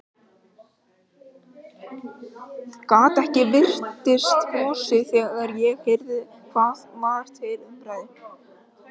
Gat ekki varist brosi þegar ég heyrði hvað var til umræðu.